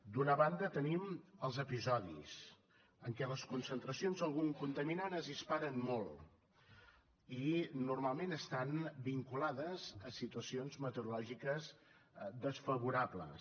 d’una banda tenim els episodis en què les concentracions d’algun contaminant es disparen molt i normalment estan vinculades a situacions meteorològiques desfavorables